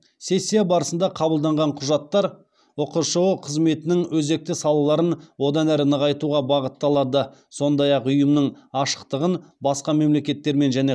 сессия барысында қабылданған құжаттар ұқшұ қызметінің өзекті салаларын одан әрі нығайтуға бағытталады сондай ақ ұйымның ашықтығын басқа мемлекеттермен және